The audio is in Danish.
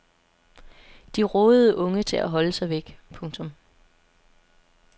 De rådede unge til at holde sig væk. punktum